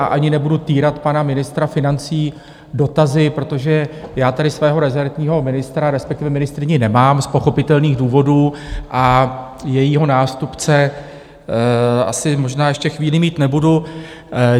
A ani nebudu týrat pana ministra financí dotazy, protože já tady svého rezortního ministra, respektive ministryni, nemám z pochopitelných důvodů a jejího nástupce asi možná ještě chvíli mít nebudu.